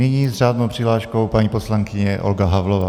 Nyní s řádnou přihláškou paní poslankyně Olga Havlová.